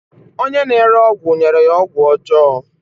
Onye na-ere ọgwụ nyere ya ọgwụ ọjọọ